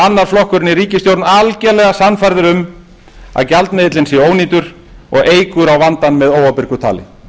annar flokkurinn í ríkisstjórn algerlega sannfærður um að gjaldmiðillinn sé ónýtur og eykur á vandann með óábyrgu tali